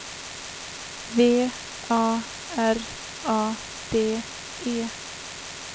V A R A D E